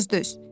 Bir az döz.